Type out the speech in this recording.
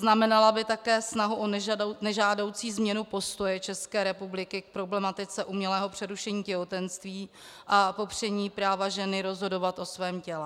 Znamenala by také snahu o nežádoucí změnu postoje České republiky k problematice umělého přerušení těhotenství a popření práva ženy rozhodovat o svém těle.